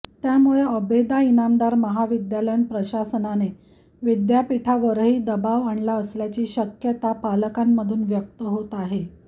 त्यामुळे आबेदा इनामदार महाविद्यालय प्रशासनाने विद्यापीठावरही दबाव आणला असल्याची शक्यता पालकांमधून व्यक्त होत आहे